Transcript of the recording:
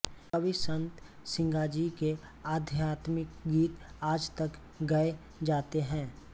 कवि संत सिंगाजी के आध्यात्मिक गीत आज तक गए जाते हैं